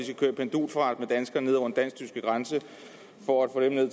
pendulfart med danskere ned over den dansk tyske grænse for at få dem ned